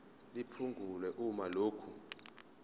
liphungulwe uma lokhu